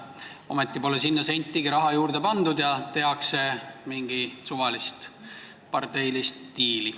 Ometi pole sinna sentigi raha juurde pandud, selle asemel tehakse mingeid suvalisi parteilisi diile.